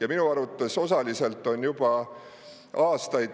Ja minu arvates osaliselt on juba aastaid